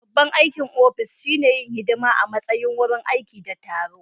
Babban aikin ofis shine yin hidima a matsayin wurin aiki da taro